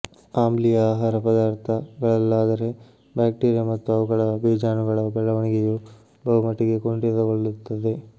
ಆಮ್ಲೀಯ ಆಹಾರ ಪದಾರ್ಥ ಗಳಲ್ಲಾದರೆ ಬ್ಯಾಕ್ಟೀರಿಯಾ ಮತ್ತು ಅವುಗಳ ಬೀಜಾಣುಗಳ ಬೆಳವಣಿಗೆಯು ಬಹುಮಟ್ಟಿಗೆ ಕುಂಠಿತಗೊಳ್ಳುತ್ತದೆ